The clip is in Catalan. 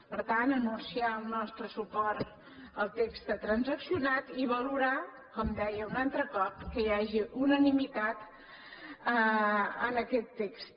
per tant anunciar el nostre suport al text transaccionat i valorar com deia un altre cop que hi hagi unanimitat en aquest text